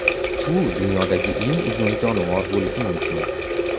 U dunyodagi eng uzun jonivor bo‘lishi mumkin.